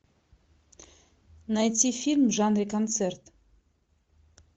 найти фильм в жанре концерт